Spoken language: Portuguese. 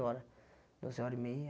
Hora doze horas e meia.